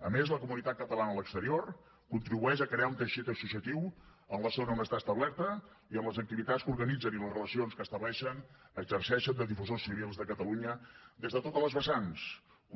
a més la comunitat catalana a l’exterior contribueix a crear un teixit associatiu en la zona on està establerta i amb les activitats que organitzen i les relacions que estableixen exerceixen de difusors civils de catalunya des de totes les vessants